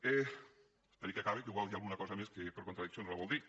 esperi que acabe que igual hi ha alguna cosa més que per contradiccions la vol dir